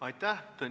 Aitäh!